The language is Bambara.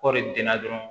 Kɔɔri den na dɔrɔn